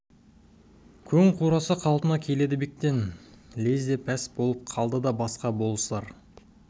көң қураса қалпына келеді бектен лезде пәс болып қалды да басқа болыстар